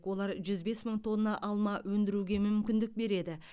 олар жүз бес мың тонна алма өндіруге мүмкіндік береді